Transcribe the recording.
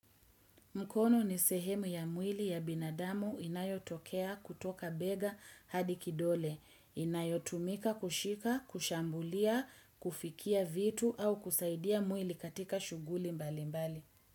Mkono ni sehemu ya mwili ya binadamu inayotokea kutoka bega hadi kidole, inayotumika kushika, kushambulia, kufikia vitu au kusaidia mwili katika shughuli mbali mbali.